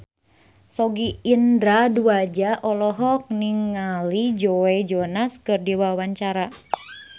Sogi Indra Duaja olohok ningali Joe Jonas keur diwawancara